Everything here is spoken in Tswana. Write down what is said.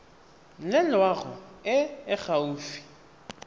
le loago e e gaufi